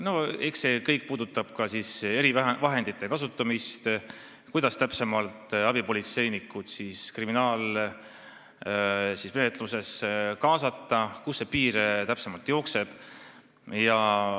No eks see kõik puudutab ka erivahendite kasutamist, seda, kuidas täpsemalt abipolitseinikke kriminaalmenetlusse kaasata, kus see piir täpsemalt jookseb.